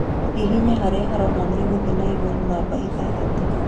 Hihinya harĩa haronania gũthiĩ na igũrũ namba ithathatũ